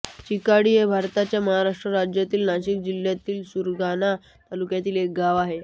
चिकाडी हे भारताच्या महाराष्ट्र राज्यातील नाशिक जिल्ह्यातील सुरगाणा तालुक्यातील एक गाव आहे